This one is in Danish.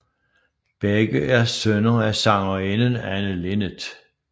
Begge er sønner af sangerinden Anne Linnet